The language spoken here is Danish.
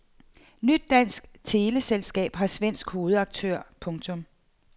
Nyt dansk teleselskab har svensk hovedaktør. punktum